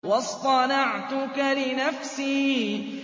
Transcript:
وَاصْطَنَعْتُكَ لِنَفْسِي